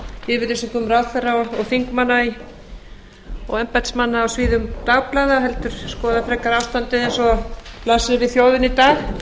yfirlýsingum ráðherra og þingmanna og embættismanna á síðum dagblaða heldur skoða frekar ástandið eins og það blasir við þjóðinni í dag